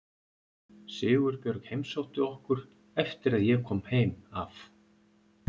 Sigurbjörg heimsótti okkur eftir að ég kom heim af